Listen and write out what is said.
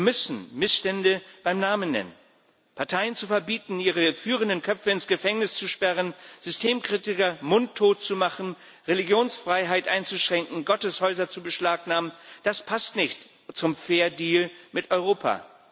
Wir müssen die Missstände beim Namen nennen Parteien zu verbieten, ihre führenden Köpfe ins Gefängnis zu sperren, Systemkritiker mundtot zu machen, Religionsfreiheit einzuschränken, Gotteshäuser zu beschlagnahmen das passt nicht zum fair deal mit Europa.